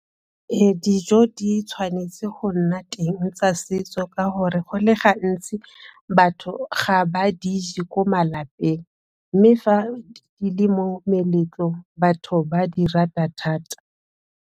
Dijo di tshwanetse go nna teng tsa setso, ka gore go le gantsi batho ga ba di je ko malapeng, mme fa di le mo meletlong, batho ba di rata thata.